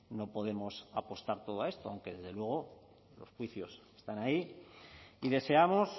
no podemos apostar todo a esto aunque desde luego los juicios están ahí y deseamos